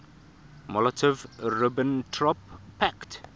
molotov ribbentrop pact